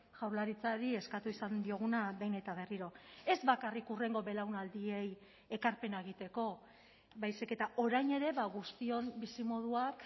jaurlaritzari eskatu izan dioguna behin eta berriro ez bakarrik hurrengo belaunaldiei ekarpena egiteko baizik eta orain ere guztion bizimoduak